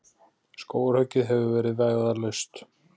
Skógarhöggið hefur verið vægðarlaust.